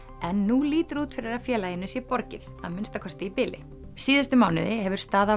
en nú lítur út fyrir að félaginu sé borgið að minnsta kosti í bili síðustu mánuði hefur staða